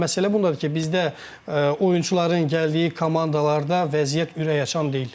amma məsələ bundadır ki, bizdə oyunçuların gəldiyi komandalarda vəziyyət ürəkaçan deyil.